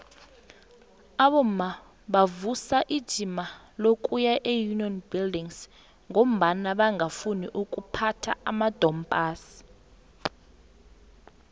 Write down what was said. abomma bavusa ijima lokuya eunion buildings ngombana bangafuni ukuphatha amadompass